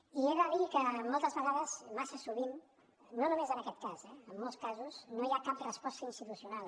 i he de dir que moltes vegades massa sovint no només en aquest cas eh en molts casos no hi ha cap resposta institucional